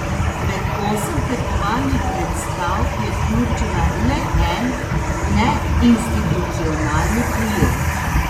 Med osem tekmovalnih predstav je vključila le en neinstitucionalni projekt.